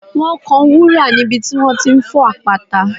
Wọ́n kan wúrà níbi tí wọ́n ti ń fọ́ àpáta